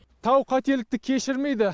тау қателікті кешірмейді